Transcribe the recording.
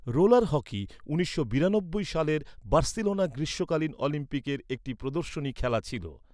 Roller hockey উনিশশো বিরানব্বই সালের বার্সেলোনা গ্রীষ্মকালীন অলিম্পিকের একটি প্রদর্শনী খেলা ছিল।